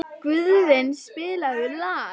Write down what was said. Guðvin, spilaðu lag.